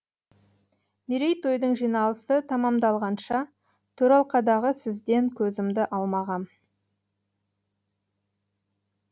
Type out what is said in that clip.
мерейтойдың жиналысы тәмәмдалғанша төралқадағы сізден көзімді алмағам